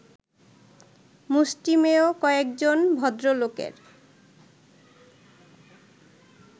মুষ্টিমেয় কয়েকজন ভদ্রলোকের